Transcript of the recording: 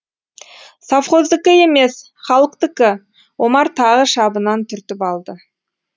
совхоздікі емес халықтікі омар тағы шабынан түртіп алды